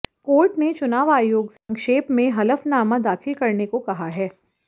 court ने चुनाव आयोग से संक्षेप में हलफनामा दाखिल करने को कहा है